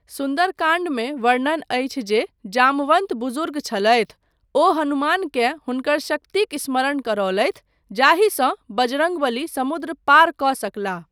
सुन्दरकाण्डमे वर्णन अछि जे जामवन्त बुजुर्ग छलथि, ओ हनुमानकेँ हुनकर शक्तिक समरण करौलथि जाहिसँ बजरङ्ग बलि समुद्र पार कऽ सकलाह।